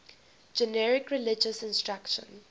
generic religious instruction